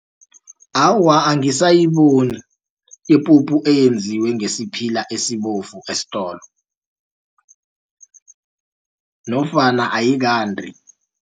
Awa, angisayiboni ipuphu eyenziwe ngesiphila esibovu esitolo nofana ayikandi.